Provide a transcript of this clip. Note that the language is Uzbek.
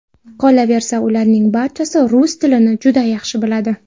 Qolaversa, ularning barchasi rus tilini juda yaxshi biladi.